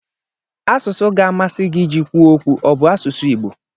Asụsụ ga-amasị gị iji kwuo okwu ọ bụ asụsụ Igbo